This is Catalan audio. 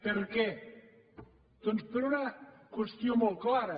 per què doncs per una qüestió molt clara